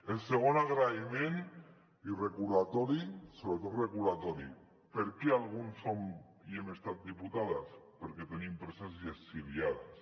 el segon agraïment i recordatori sobretot recordatori per què alguns som i hem estat diputades perquè tenim preses i exiliades